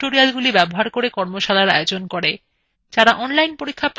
যারা online পরীক্ষা pass করে তাদের certificates দেয়